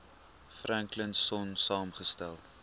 franklin sonn saamgestel